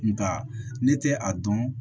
Nka ne tɛ a dɔn